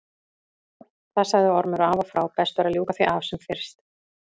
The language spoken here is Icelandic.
Það sagði Ormur af og frá, best væri að ljúka því af sem fyrst.